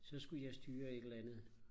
så skulle jeg styre et eller andet